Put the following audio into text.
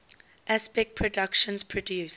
aspect productions produced